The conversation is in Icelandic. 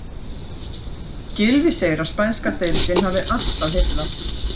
Gylfi segir að spænska deildin hafi alltaf heillað.